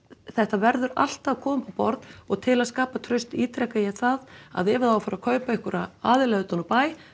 þetta verður allt að koma upp borð og til að skapa traust ítreka ég það að ef á að fara að kaupa einhverja aðila utan úr bæ